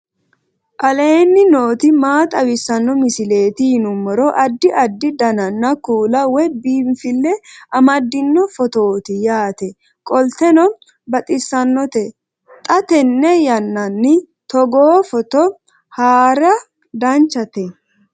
aleenni nooti maa xawisanno misileeti yinummoro addi addi dananna kuula woy biinfille amaddino footooti yaate qoltenno baxissannote xa tenne yannanni togoo footo haara danchate